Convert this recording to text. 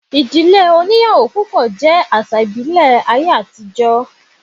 Ìdílé oníyàwó púpọ̀ jẹ́ àsà íbìlẹ̀ ayé àtijọ́